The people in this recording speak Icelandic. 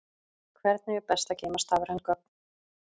Hvernig er best að geyma stafræn gögn?